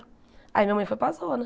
Aí minha mãe foi para a zona.